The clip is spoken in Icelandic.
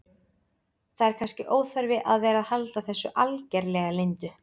Það er kannski óþarfi að vera að halda þessu algerlega leyndu.